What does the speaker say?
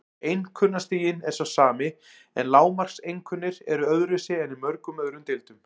Einkunnastiginn er sá sami en lágmarkseinkunnir eru öðruvísi en í mörgum öðrum deildum.